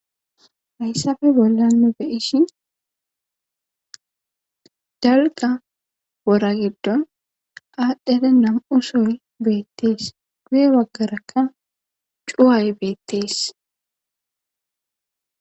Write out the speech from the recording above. hayssafe bollanna beyishi dalga wora giddo aadhdhere nam7u soy beettees guye waggarakka cuway beettees